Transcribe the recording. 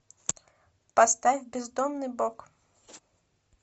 поставь бездомный бог